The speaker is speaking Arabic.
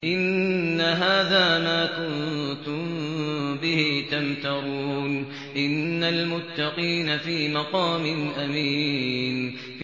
إِنَّ هَٰذَا مَا كُنتُم بِهِ تَمْتَرُونَ